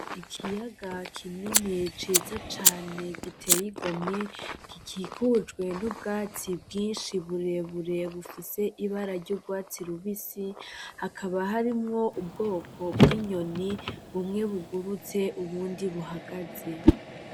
Ikiyaga kinini ciza cane giteye igomwe, gikikujwe n'ubwatsi bwinshi burebure bufise Ibara ry'urwatsi rubisi, hakaba harimwo ubwoko bwinyoni bumwe bugurtse ubundi buhagaze.